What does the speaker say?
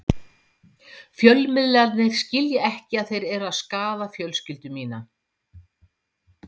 Fjölmiðlarnir skilja ekki að þeir eru að skaða fjölskyldu mína.